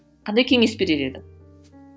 кандай кеңес берер едің